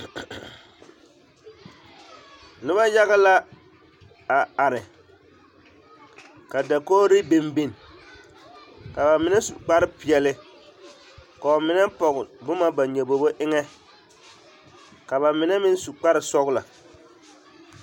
Noba yaga la a are ka dakogiri biŋ biŋ ka bamine su kpare peɛle k'o mine pɔge boma ba nyobobo eŋɛ ka bamine meŋ su kpare sɔgelɔ.